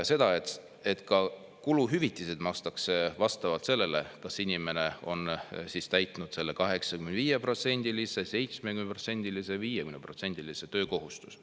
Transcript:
See tähendab seda, et ka kuluhüvitisi makstakse vastavalt sellele, kas inimene on täitnud selle 85%-lise, 70%-lise või 50%-lise töökohustuse.